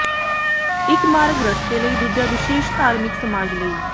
ਇਕ ਮਾਰਗ ਰਸਤੇ ਲਈ ਦੂਜਾ ਵਿਸੇਸ਼ ਧਾਰਮਿਕ ਸਮਾਜ ਲਈ